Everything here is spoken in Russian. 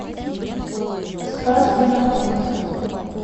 спас где находится